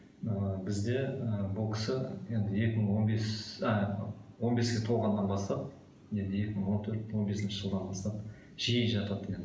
ы бізде ы бұл кісі енді екі мың он бес а он беске толғаннан бастап енді екі мың он төрт он бесінші жылдан бастап жиі жатады екен